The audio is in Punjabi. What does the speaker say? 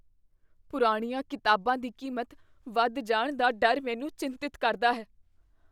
ਪੁਰਾਣੀਆਂ ਕਿਤਾਬਾਂ ਦੀ ਕੀਮਤ ਵੱਧ ਜਾਣ ਦਾ ਡਰ ਮੈਨੂੰ ਚਿੰਤਤ ਕਰਦਾ ਹੈ।